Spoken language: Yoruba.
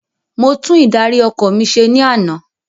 Mo tún ìdarí ọkọ̀ mi se ní ana